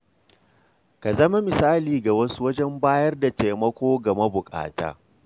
Ka zama misali ga wasu wajen bayar da taimako ga mabukata.